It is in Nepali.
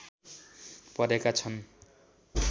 परेका छन्